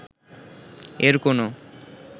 এর কোন